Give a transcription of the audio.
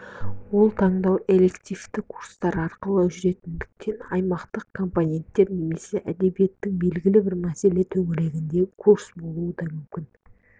ол таңдау элективті курстар арқылы жүретіндіктен аймақтық компонет немесе әдебиеттің белгілі бір мәселесі төңірегіндегі курс болуы да мүмкін